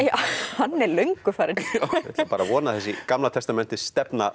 hann er löngu farinn ég ætla bara að vona að þessi Gamla